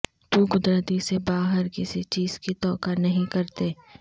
تو قدرتی سے باہر کسی چیز کی توقع نہیں کرتے